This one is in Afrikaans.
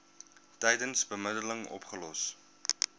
tydens bemiddeling opgelos